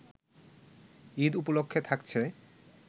ঈদ উপলক্ষে থাকছে